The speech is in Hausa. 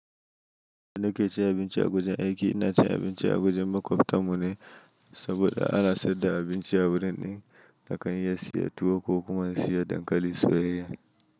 Da nake cin abinci a wajen aiki, ina cin abinci a wajen makwabta mu ne, saboda ana sayar da abinci a wurin ɗin na kan iya siya tuwo ko kuma in saya dankali soyayya.